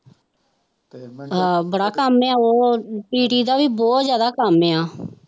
ਅਹ ਬੜਾ ਕੰਮ ਆ ਉਹ PT ਦਾ ਬਹੁਤ ਜ਼ਿਆਦਾ ਕੰਮ ਆ।